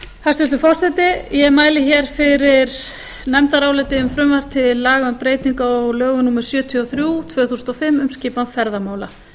hæstvirtur forseti ég mæli hér fyrir nefndaráliti um frumvarp til laga um breytingu á lögum númer sjötíu og þrjú tvö þúsund og fimm um skipan ferðamála